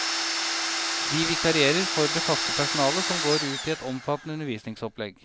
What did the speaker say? De vikarierer for det faste personalet som går ut i et omfattende undervisningsopplegg.